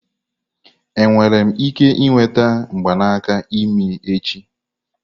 Enwere m ike ịnweta mgbanaka imi echi?